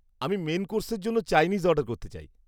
আমি মেন কোর্সের জন্য চাইনিজ অর্ডার করতে চাই।